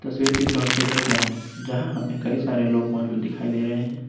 तस्वीर किसी हॉस्पिटल का है जहां हमें कई सारे लोग मौजूद दिखाई दे रहे हैं।